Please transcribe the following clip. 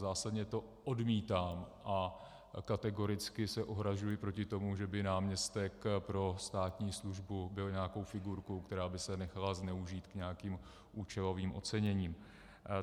Zásadně to odmítám a kategoricky se ohrazuji proti tomu, že by náměstek pro státní službu byl nějakou figurkou, která by se nechala zneužít k nějakým účelovým oceněním.